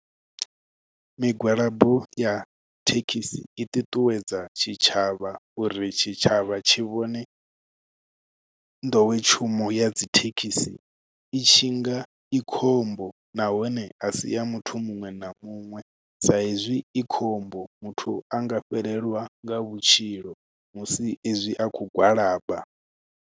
Migwalabo ya thekhisi i ṱuṱuwedza tshitshavha uri tshitshavha tshi vhone nḓowetshumo ya dzi thekhisi i tshi nga i khombo nahone a sia muthu muṅwe na muṅwe sa hezwi i khombo muthu a nga fhelelwa nga vhutshilo musi ezwi a khou gwalaba.